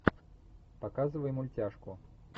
показывай мультяшку